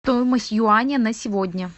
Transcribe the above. стоимость юаня на сегодня